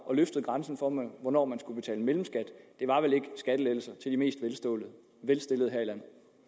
og løftede grænsen for hvornår man skulle betale mellemskat det var vel ikke skattelettelser til de mest velstillede her